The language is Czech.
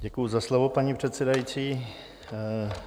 Děkuji za slovo, paní předsedající.